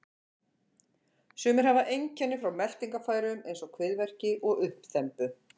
Sumir hafa einkenni frá meltingarfærum eins og kviðverki og uppþembu.